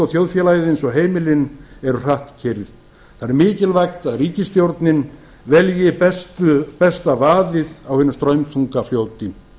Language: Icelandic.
þjóðfélagið eins og heimilin hratt keyrt það er mikilvægt að ríkisstjórnin velji besta vaðið á hinu straumþunga fljóti